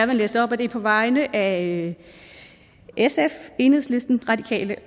vil læse op og det er på vegne af sf enhedslisten radikale